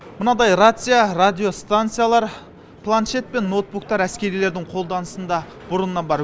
мынадай рация радиостанциялар планшет пен ноутбуктер әскерилердің қолданысында бұрыннан бар